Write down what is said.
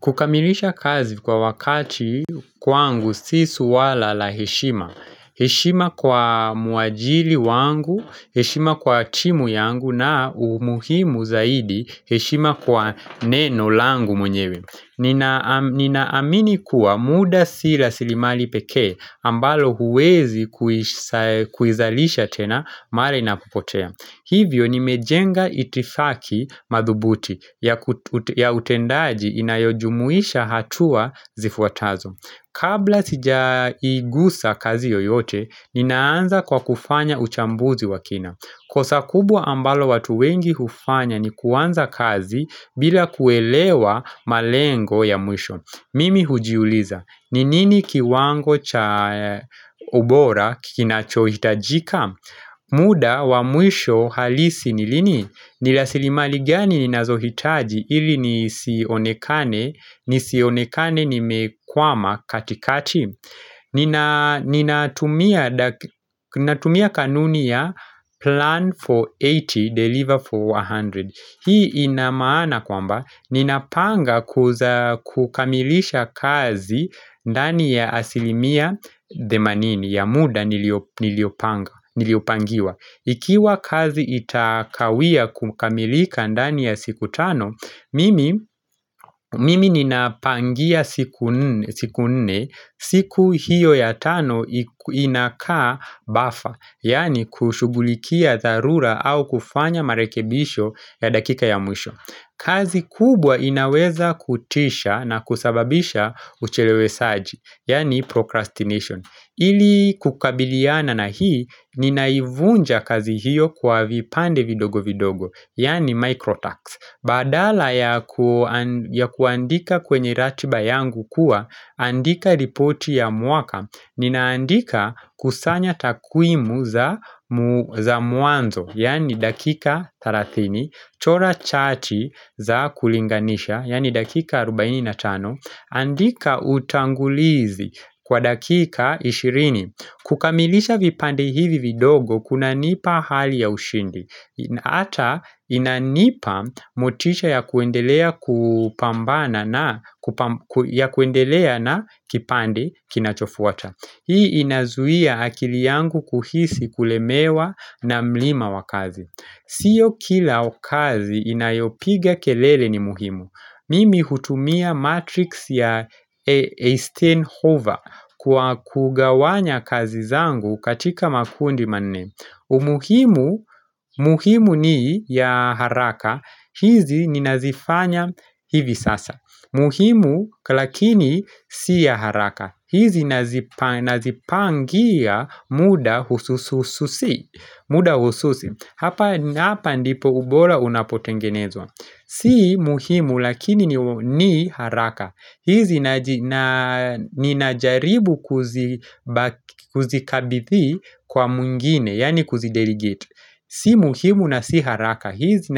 Kukamilisha kazi kwa wakati kwangu si swala la heshima. Heshima kwa mwajiri wangu, heshima kwa timu yangu na umuhimu zaidi heshima kwa neno langu mwenyewe. Ninaamini kuwa muda si rasilimali pekee ambalo huwezi kuizalisha tena mara inapopotea. Hivyo nimejenga itifaki madhubuti ya utendaji inayojumuisha hatua zifuatazo. Kabla sijaigusa kazi yoyote, ninaanza kwa kufanya uchambuzi wa kina. Kosa kubwa ambalo watu wengi hufanya ni kuanza kazi bila kuelewa malengo ya mwisho. Mimi hujiuliza, ni nini kiwango cha ubora kinachohitajika? Muda wa mwisho halisi ni lini nirasilimali gani ninazohitaji ili nisionekane nimekwama katikati Ninatumia kanuni ya plan for 80 deliver for 100 Hii ina maana kwamba ninapanga kukamilisha kazi ndani ya asilimia themanini ya muda niliopanga Niliopangiwa. Ikiwa kazi itakawia kukamilika ndani ya siku tano mimi mimi nina pangia siku nne, siku hiyo ya tano inakaa buffer, yaani kushugulikia dharura au kufanya marekebisho ya dakika ya mwisho. Kazi kubwa inaweza kutisha na kusababisha uchelewesaji, yani procrastination ili kukabiliana na hii, ninaivunja kazi hiyo kwa vipande vidogo vidogo, yani microtasks Baadala ya ya kuandika kwenye ratiba yangu kuwa, andika ripoti ya mwaka Ninaandika kusanya takwimu za mwanzo, yaani dakika 30 Tchora chati za kulinganisha, yaani dakika 45, andika utangulizi kwa dakika 20. Kukamilisha vipande hivi vidogo, kunanipa hali ya ushindi. Ata inanipa motisha ya kuendelea na kipande kinachofuata. Hii inazuia akili yangu kuhisi kulemewa na mlima wa kazi. Sio kila kazi inayopiga kelele ni muhimu Mimi hutumia matrix ya Reistenhofer kwa kugawanya kazi zangu katika makundi manne umuhimu, muhimu ni ya haraka hizi ninazifanya hivi sasa muhimu lakini si ya haraka hizi nazipangia muda hususuhususi muda hususi. Hapa ndipo ubora unapotengenezwa. Si muhimu lakini ni haraka. Hizi ninajaribu kuzikabithi kwa mwingine, yani kuzidedicate Si muhimu na si haraka. Hizi